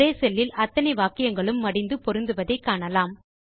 ஒரே செல் இல் அத்தனை வாக்கியங்களும் மடிந்து பொருந்துவதை காணலாம்